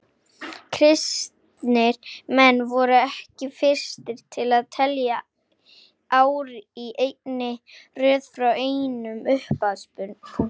Kristnir menn voru ekki fyrstir til að telja ár í einni röð frá einum upphafspunkti.